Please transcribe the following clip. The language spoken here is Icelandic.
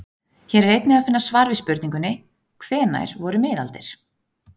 Hér er einnig að finna svar við spurningunni: Hvenær voru miðaldir?